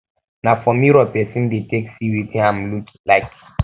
na for mirror persin de take see wetin im look like